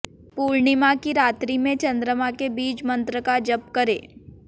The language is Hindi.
पूर्णिमा की रात्रि में चंद्रमा के बीज मंत्र का जप करें